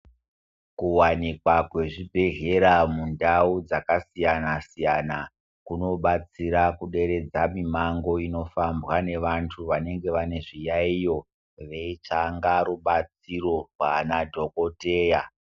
Kuwanikwa kwezvibhedhlera mundau dzakasiyana siyana kunobatsira kuderedza mimango inifambwa nevantu vanenge vane zviyaiyo veitsanga rubatsiro kuvana dhokodheya.